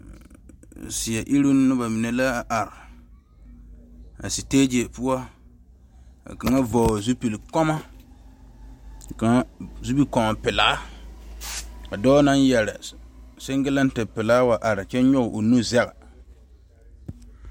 Seɛ iruŋ noba mine la a are,a stage poɔ, ka kaŋa vɔgeli zupili gɔɔloŋ pelaa ka dɔɔ naŋ yɛre singleti pelaa wa are kyɛ nyɔge o nu zege